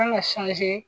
An ka